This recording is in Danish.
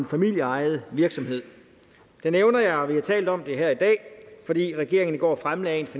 familieejet virksomhed det nævner jeg og vi har talt om det her i dag fordi regeringen i går fremsatte et